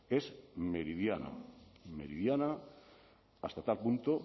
es meridiana meridiana hasta tal punto